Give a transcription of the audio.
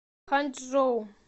ханчжоу